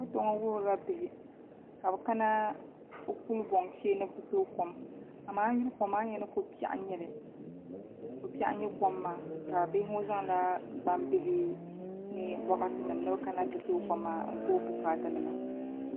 foto ŋɔ wuhirila bihi ka bɛ kana kulibɔŋ shee ni bɛ ti toogi kom amaa a yi yuli kom maa a ni yɛli ni ko' biɛɣu n-nyɛ kom maa ka bihi ŋɔ zaŋla gbambihi ni bɔkatinima ni bɛ kana n-ti toogi kom maa n-ku bɛ bukaatanima